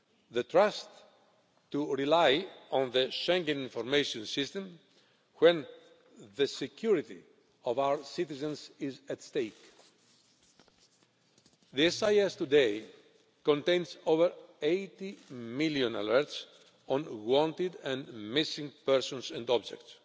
The trust to rely on the Schengen Information System when the security of our citizens is at stake. The SIS today contains over 80 million alerts on wanted and missing persons and objects.